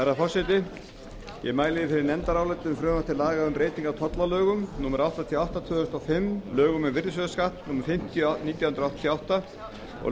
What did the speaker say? mæli fyrir nefndaráliti um frumvarp til laga um breyting á tollalögum númer áttatíu og átta tvö þúsund og fimm lögum um virðisaukaskatt númer fimmtíu nítján hundruð áttatíu og átta og